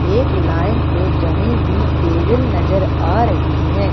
एक लाइन से जमी हुई टेबल नजर आ रही है।